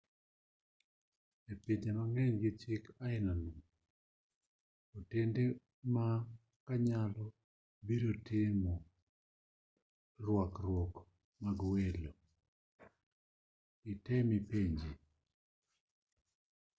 e pinje mang'eny gi chik ainano otende ma kanyo biro timo rwakruok mag welo. item ipenji